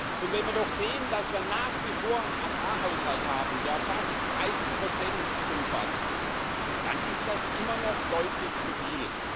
Und wenn wir doch sehen, dass wir nach wie vor einen Agrarhaushalt haben, der fast 30 umfasst, dann ist das immer noch deutlich zu viel.